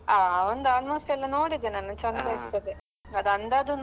ಹಾ ಅವನ್ದು almost ಎಲ್ಲ ನೋಡಿದೆ ನಾನು ಚಂದ ಇರ್ತದೆ ಅದು